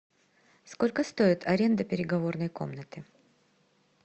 сколько стоит аренда переговорной комнаты